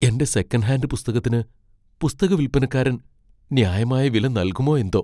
എന്റെ second hand പുസ്തകത്തിന് പുസ്തക വിൽപ്പനക്കാരൻ ന്യായമായ വില നൽകുമോ എന്തോ!